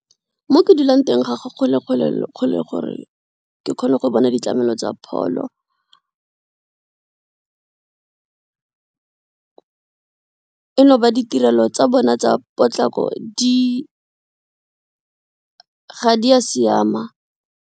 Mo ke dulang teng ga go kgole gore ke kgone go bona ditlamelo tsa pholo e ditirelo tsa bone tsa potlako di, ga di a siama.